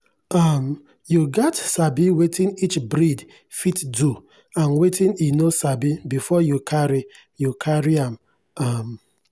um you gats sabi wetin each breed fit do and wetin e no sabi before you carry you carry am. um